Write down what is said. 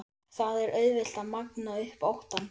Það er auðvelt að magna upp óttann.